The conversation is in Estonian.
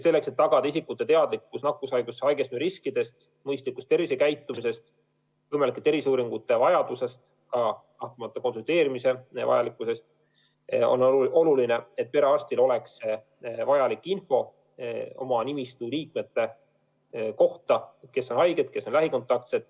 Selleks, et tagada isikute teadlikkus nakkushaigusesse haigestumise riskidest, mõistlikust tervisekäitumisest, võimalike terviseuuringute vajadusest ja kahtlemata ka konsulteerimise vajalikkusest, on oluline, et perearstil oleks vajalik info oma nimistu liikmete kohta: kes on haiged, kes on lähikontaktsed.